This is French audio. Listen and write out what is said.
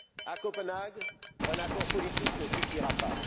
À Copenhague, un accord politique ne suffira pas.